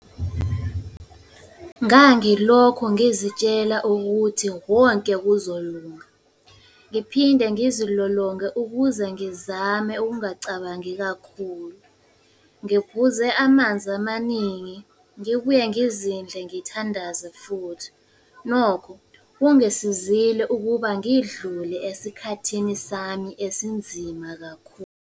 Ngangilokho ngizitshela ukuthi wonke kuzolunga. Ngiphinde ngizilolonge ukuze ngizame ukungacabangi kakhulu, ngiphuze amanzi amaningi, ngibuye ngizindle ngithandaze futhi. Nokho kungisizile ukuba ngidlule esikhathini sami esinzima kakhulu.